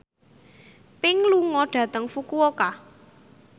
Pink lunga dhateng Fukuoka